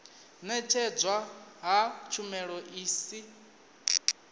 ṅetshedzwa ha tshumelo i si